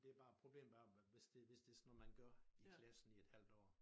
Det bare problemet er hvis det hvis det sådan noget man gør i klassen i et halvt år